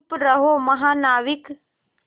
चुप रहो महानाविक